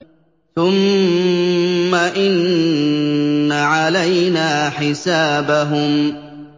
ثُمَّ إِنَّ عَلَيْنَا حِسَابَهُم